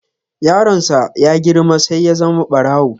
Yaron sa ya girma sai ya zama barawo.